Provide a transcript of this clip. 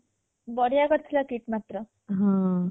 ବଢ଼ିଆ କରିଥିଲା KIIT ମାତ୍ର